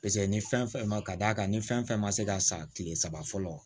ni fɛn fɛn ma ka d'a kan ni fɛn fɛn ma se ka san kile saba fɔlɔ